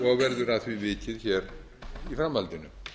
og verður að því vikið í framhaldinu